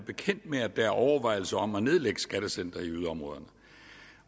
bekendt med at der er overvejelser om at nedlægge skattecentre i yderområderne